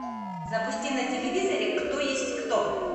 запусти на телевизоре кто есть кто